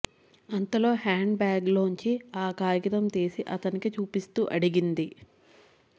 అంతలో handbag లోంచి ఆ కాగితం తీసి అతనికి చూపిస్తూ అడిగింది